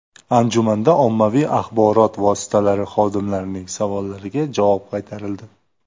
Anjumanda ommaviy axborot vositalari xodimlarining savollariga javob qaytarildi.